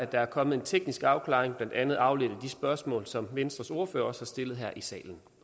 der er kommet en teknisk afklaring blandt andet afledt af de spørgsmål som venstres ordfører også har stillet her i salen